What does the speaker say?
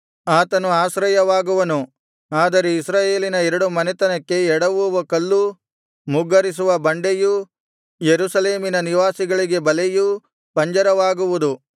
ಆತನು ಆಶ್ರಯವಾಗುವನು ಆದರೆ ಇಸ್ರಾಯೇಲಿನ ಎರಡು ಮನೆತನಕ್ಕೆ ಎಡವುವ ಕಲ್ಲೂ ಮುಗ್ಗರಿಸುವ ಬಂಡೆಯೂ ಯೆರೂಸಲೇಮಿನ ನಿವಾಸಿಗಳಿಗೆ ಬಲೆಯೂ ಪಂಜರವಾಗುವುದು